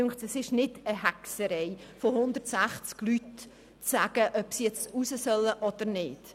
Es scheint mir keine Hexerei zu sein, von 160 Personen abzuklären, ob sie jetzt nach draussen gehen sollen oder nicht.